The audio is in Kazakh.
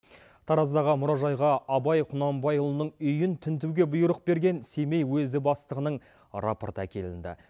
тараздағы мұражайға абай құнанбайұлының үйін тінтуге бұйрық берген семей уезі бастығының рапорты әкелінді